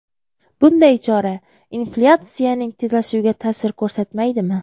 Bunday chora inflyatsiyaning tezlashuviga ta’sir ko‘rsatmaydimi?